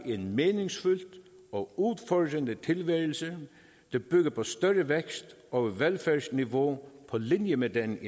en meningsfyldt og udfordrende tilværelse der bygger på større vækst og et velfærdsniveau på linje med den